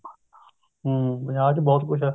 ਹਮ ਪੰਜਾਬ ਵਿੱਚ ਬਹੁਤ ਕੁੱਝ ਹੈ